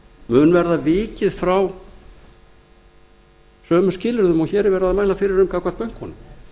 mun verða vikið frá sömu skilyrðum og hér er verið að mæla fyrir gagnvart bönkunum